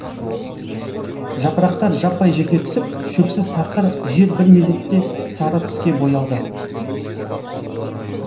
жапырақтар жаппай жерге түсіп шөпсіз тақыр жер бір мезетте сары түске боялды